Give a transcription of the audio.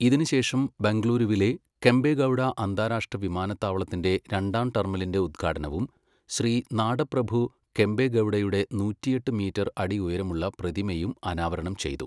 ഇതിന് ശേഷം ബെംഗളൂരുവിലെ കെംപെഗൗഡ അന്താരാഷ്ട്ര വിമാനത്താവളത്തിന്റെ രണ്ടാം ടെർമിനലിന്റെ ഉദ്ഘാടനവും ശ്രീ നാഡപ്രഭു കെംപെഗൗഡയുടെ നൂറ്റിയെട്ട് മീറ്റർ അടി ഉയരമുള്ള പ്രതിമയും അനാവരണം ചെയ്തു.